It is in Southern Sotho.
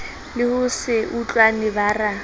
le ho se utlwane bara